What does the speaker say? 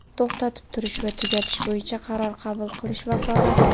to‘xtatib turish va tugatish bo‘yicha qaror qabul qilish vakolati.